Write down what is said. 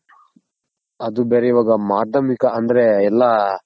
ಅದು ಬೇರೆ ಇವಾಗ ಮಾಧ್ಯಮಿಕ ಅಂದ್ರೆ ಎಲ್ಲ